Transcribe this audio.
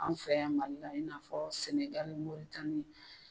An fɛ yan Mali in n'a fɔ sɛnɛgali ni moritani